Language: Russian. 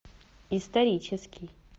исторический